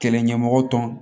Kɛlɛ ɲɛmɔgɔ tɔn